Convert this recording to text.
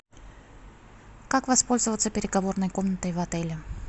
как воспользоваться переговорной комнатой в отеле